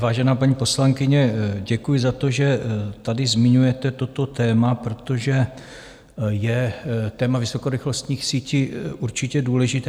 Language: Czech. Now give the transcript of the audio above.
Vážená paní poslankyně, děkuji za to, že tady zmiňujete toto téma, protože je téma vysokorychlostních sítí určitě důležité.